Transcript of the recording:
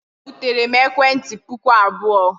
O buteere m ekwentị puku abụọ.